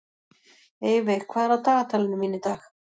Eyveig, hvað er á dagatalinu mínu í dag?